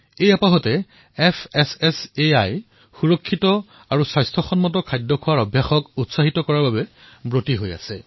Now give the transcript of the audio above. এই উপলক্ষে FSSAIয়ে নিৰাপদ আৰু স্বাস্থ্যকৰ সুষম খাদ্যাভ্যাসৰ দৰে ভাল অভ্যাস গঢ়াৰ দিশত অগ্ৰসৰ হৈছে